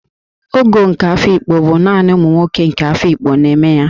Ogo nke Afikpo bụ naanị ụmụ nwoke nke obodo Afikpo na-eme ya